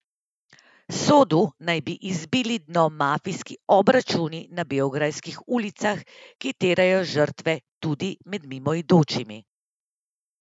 Sodu naj bi izbili dno mafijski obračuni na beograjskih ulicah, ki terjajo žrtve tudi med mimoidočimi.